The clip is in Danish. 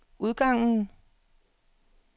udgangen